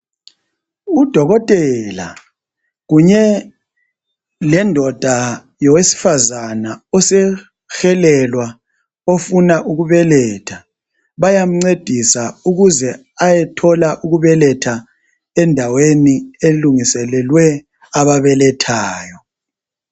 Udokotela kunye lendoda yowesifazana osehelelwa ofuna ukubeletha. Bayamcedisa ukuze ayethola ukubeletha endaweni elungiselelwe ababelethayo.